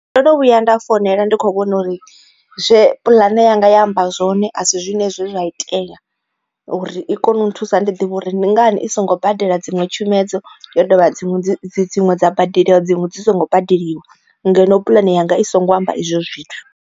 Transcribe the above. Ndo no vhuya nda founela ndi kho vhona uri zwe puḽane yanga ya amba zwone a si zwone zwe zwa itea uri i kone u nthusa ndi ḓivha uri ndi ngani i songo badela dziṅwe tshumedzo yo dovha dziṅwe dzi dziṅwe dza badeliwa dziṅwe dzi songo badeliwa ngeno puḽane yanga i songo amba izwo zwithu.